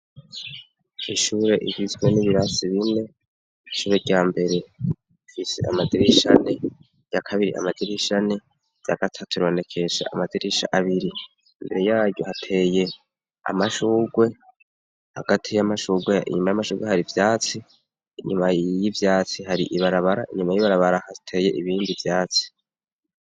Ishure ivizwe n'ibirasi bine icube rya mbere fise amadirishane ya kabiri amadirishane ya gatatu ronekesha amazirisha abiri imbere yayu hateye amashurwe hagati y'amashugwe inyuma y'amashurwe hari ivyatsi inyuma yiyo ivyatsi hari ibara bara inyuma y'ibarabarahateye ibindi vyaci.